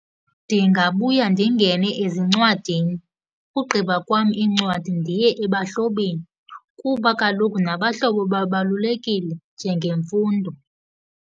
Ndingabuya ndingene ezincwadini. Ugqiba kwam iincwadi ndiye ebahlobeni kuba kaloku nabahlobo babalulekile njengemfundo.